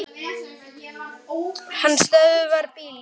Hann stöðvar bílinn.